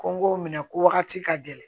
Ko n k'o minɛ ko wagati ka gɛlɛn